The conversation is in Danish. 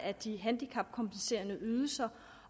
af de handicapkompenserende ydelser